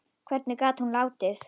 Hvernig hún gat látið.